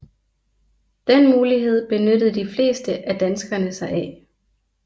Den mulighed benyttede de fleste af danskerne sig af